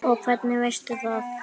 Og hvernig veistu það?